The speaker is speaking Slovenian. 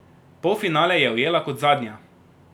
Polfinale je ujela kot zadnja.